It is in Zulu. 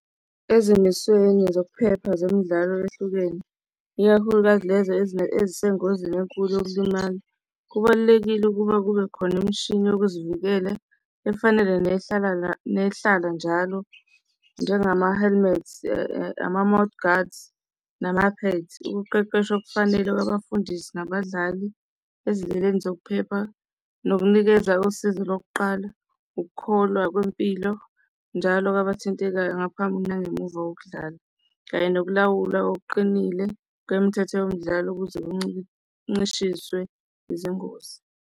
Ezimisweni zokuphepha zemidlalo ehlukene ikakhulukazi lezo ezisengozini enkulu yokulimala kubalulekile ukuba kube khona imishini wokuzivikela efanele nehlala nehlala njalo njengama-helmets, ama-mouth gaurds, nama-pads ukuqeqeshwa okufanele kwabafundisi nabadlali ezindleleni zokuphepha nokunikeza usizo lokuqala, ukukholwa kwempilo njalo wabathintekayo ngaphambili nangemuva kokudlala, kanye nokulawulwa okuqinile kwemithetho yomdlalo ukuze kuncishiswe izingozi.